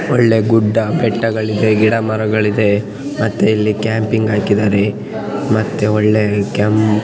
ಒಳ್ಳೆ ಗುಡ್ಡ ಬೆಟ್ಟಗಳಿದೆ ಗಿಡಮರಗಳಿದೆ ಮತ್ತೆ ಇಲ್ಲಿ ಕ್ಯಾಂಪಿಂಗ್ ಹಾಕಿದ್ದಾರೆ ಮತ್ತೆ ಒಳ್ಳೆ ಕೆಂಪ್